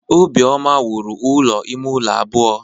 Obioma wuru ụlọ ime ụlọ abụọ.